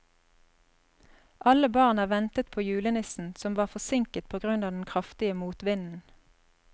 Alle barna ventet på julenissen, som var forsinket på grunn av den kraftige motvinden.